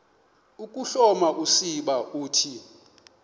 ukuhloma usiba uthi